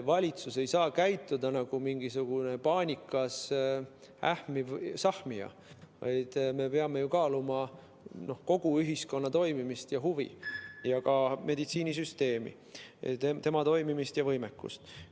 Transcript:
Valitsus ei saa käituda nagu mingisugune paanikas ähmiv sahmija, vaid me peame ju kaaluma kogu ühiskonna toimimist ja huvi ning ka meditsiinisüsteemi toimimist ja võimekust.